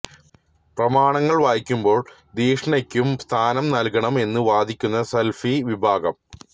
പ്രമാണങ്ങള് വായിക്കുമ്പോള് ധിഷണക്കും സ്ഥാനം നല്കണം എന്ന് വാദിക്കുന്ന സലഫി വിഭാഗം